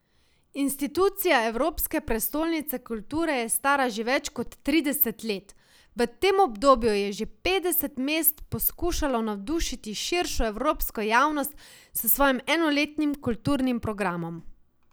Institucija Evropske prestolnice kulture je stara že več kot trideset let, v tem obdobju je že petdeset mest poskušalo navdušiti širšo evropsko javnost s svojim enoletnim kulturnim programom.